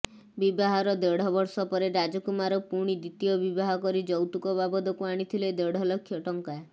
ବିବାହର ଦେଢ଼ବର୍ଷ ପରେ ରାଜକୁମାର ପୁଣି ଦ୍ବିତୀୟ ବିବାହ କରି ଯୌତୁକ ବାବଦକୁ ଆଣିଥିଲେ ଦେଢ଼ ଲକ୍ଷ ଟଙ୍କା